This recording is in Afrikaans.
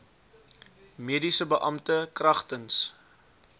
mediese beampte kragtens